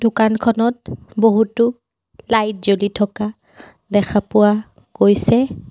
দোকানখনত বহুতো লাইট জ্বলি থকা দেখা পোৱা গৈছে।